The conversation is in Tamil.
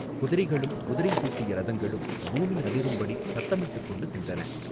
குதிரைகளும் குதிரை பூட்டிய ரதங்களும் பூமி அதிரும்படி சத்தமிட்டுக் கொண்டு சென்றன.